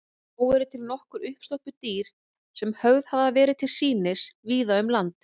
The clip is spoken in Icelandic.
Þó eru til nokkur uppstoppuð dýr sem höfð hafa verið til sýnis víða um land.